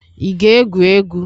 ị ga-egwu egwu?